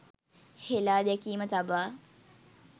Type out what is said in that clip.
හෙළාදැකීම තබා